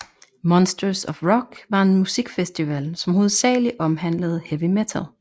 Monsters of Rock var en musikfestival som hovedsagelig omhandlede heavy metal